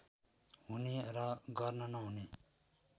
हुने र गर्न नहुने